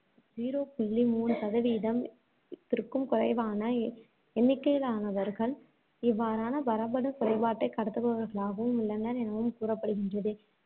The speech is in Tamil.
zero புள்ளி மூணு சதவீதம்~ திற்கும் குறைவான எண்ணிக்கையிலானவர்கள், இவ்வாறான மரபணுக் குறைபாட்டைக் கடத்துபவர்களாகவும் உள்ளனர் எனவும் கூறப்படுகின்றது.